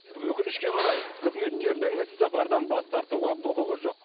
өкінішке қарай қызметкердің іссапардан бас тартуға құқығы жоқ